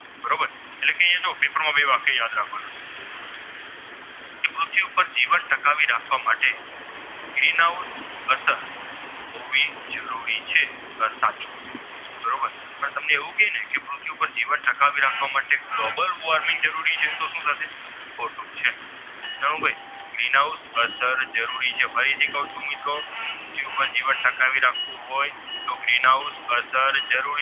કે પૃથ્વી પાર જીવન ટકાવી રાખવા માટે Global Worming જરૂરી છે તો સુ થશે ખોટું છે ચાલો ભાઈ Green house અસર જરૂરી છે ફરીથી ક્વ છું મિત્રો પૃથ્વી જીવન ટકાવી રાખવું હોય Green house અસર જરૂરી